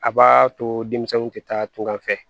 A b'a to denmisɛnninw tɛ taa an fɛ